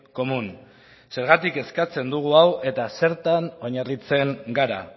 común zergatik eskatzen dugu hau eta zertan oinarritzen gara